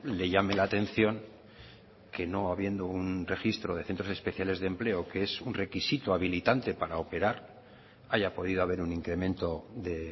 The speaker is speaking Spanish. le llame la atención que no habiendo un registro de centros especiales de empleo que es un requisito habilitante para operar haya podido haber un incremento de